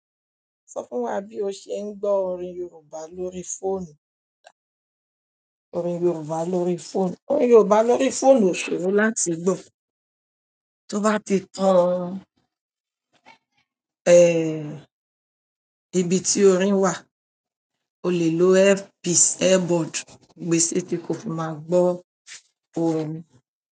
Sọ fún wa bí o ṣe ń gbọ́ orin Yorùbá lórí fóònù? Orin Yorùbá lórí fóònù, orin Yorùbá lórí fóònù o ṣòro láti gbọ́, tó bá ti tan, ẹ, ibi tí orin wà, o lè lo earpiece, earbud, gbèsè tí kò fi máa gbọ́ orin.